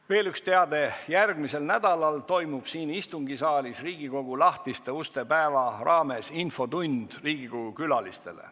Veel üks teade: järgmisel nädalal toimub siin istungisaalis Riigikogu lahtiste uste päeva raames infotund Riigikogu külalistele.